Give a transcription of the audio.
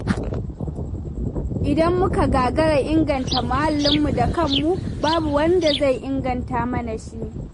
Idan muka gagara inganta muhallinmu da kanmu, babu wanda zai inganta mana shi.